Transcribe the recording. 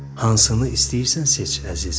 Hansını istəyirsən seç, əzizim.